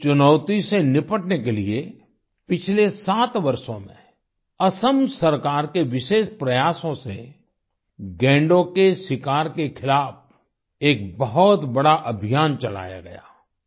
इस चुनौती से निपटने के लिए पिछले सात वर्षों में असम सरकार के विशेष प्रयासों से गैंडों के शिकार के खिलाफ एक बहुत बड़ा अभियान चलाया गया